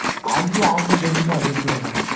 আসবে আসবে দেখতে পাবে কিরকম